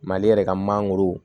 Mali yɛrɛ ka mangoro